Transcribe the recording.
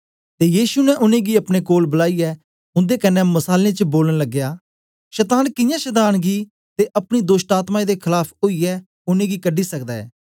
ते यीशु ने उनेंगी अपने कोल बलाईयै उन्दे कन्ने मसालें च बोलन लगया शतान कियां शतान गी ते अपनी दोष्टआत्में दे खलाफ ओईयै उनेंगी कढी सकदा ऐ